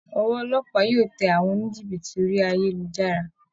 Ọwọ́ olópàá yóò tẹ àwọn oníjìbìtì orí ayélujára